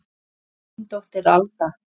Þín dóttir Alda.